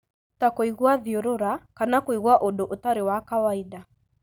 ta kũigua thiũrũra kana kũigua ũndũ ũtarĩ wa kawaida.